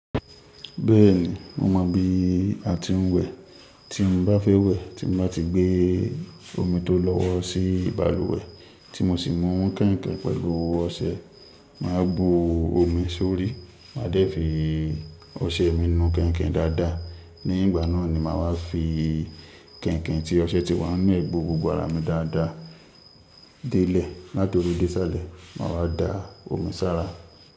Bẹ́ẹ̀ni, mo mọ bí a ti ń wẹ̀. Tí mo bá fẹ́ wẹ̀, tí mo bá ti gbé omi tó lọ́wọ́ sí balùwẹ̀ tí mo sì mú kẹ̀ǹkẹ̀ pẹ̀lú ọṣẹ, màá bu omi sórí, máa dẹ́ fi ọṣẹ mi nu kẹ̀ǹkẹ̀ dáadáa, ní ìgbà náà ni màá wá fi kẹ̀ǹkẹ̀ tí ọṣẹ ti wà ní nibe gbò gbogbo ara mi dáadáa délẹ̀, latori dé sáàlẹ̀, màá wá da omi sára.